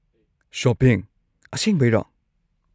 Shopping? ꯑꯁꯦꯡꯕꯩꯔꯣ?